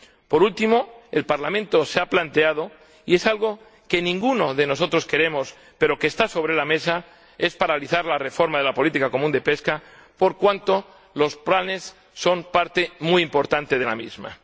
Por último, el Parlamento se ha planteado —y es algo que ninguno de nosotros queremos, pero que está sobre la mesa— paralizar la reforma de la política pesquera común por cuanto los planes son parte muy importante de la misma.